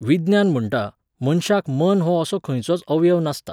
विज्ञान म्हणटा, मनशाक मन हो असो खंयचोच अवयव नासता